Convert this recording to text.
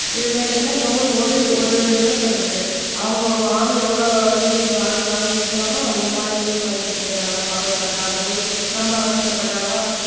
இது மாதிரி இருந்தாலோடு ஒரு ஒரு என்ன சொல்றது அவங்க வாங்க எவ்வளவு யூனிட் வாங்கி வாங்கி வச்சாலும் இந்த மாதிரி யூஸ் பண்ணிட்டு போயிடுறாங்களா பவர் கட் ஆகும்போது ரொம்ப அவஸ்தை படுறாங்களா